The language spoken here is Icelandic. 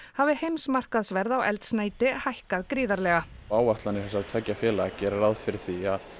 hafi heimsmarkaðsverð á eldsneyti hækkað gríðarlega áætlanir þessara tveggja félaga gera ráð fyrir því að